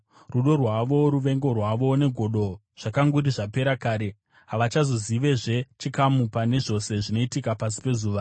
Rudo rwavo, ruvengo rwavo negodo zvakanguri zvapera kare; havachazovizve nechikamu, pane zvose zvinoitika pasi pezuva.